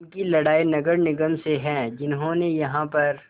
उनकी लड़ाई नगर निगम से है जिन्होंने यहाँ पर